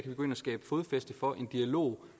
vi gå ind og skabe fodfæste for en dialog